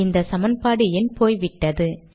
இந்த சமன்பாடு எண் போய் விட்டது